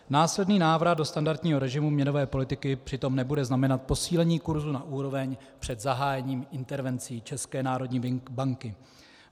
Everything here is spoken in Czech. Následný návrat do standardního režimu měnové politiky přitom nebude znamenat posílení kursu na úroveň před zahájením intervencí České národní banky.